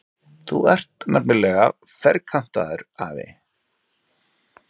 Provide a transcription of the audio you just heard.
Þú ert nefnilega ferkantaður, afi.